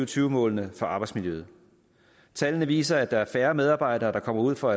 tyve målene for arbejdsmiljøet tallene viser at der er færre medarbejdere der kommer ud for